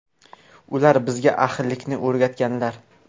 Ular bizga ahillikni o‘rgatganlar.